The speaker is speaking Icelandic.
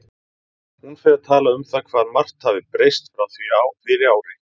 Hún fer að tala um það hvað margt hafi breyst frá því fyrir ári.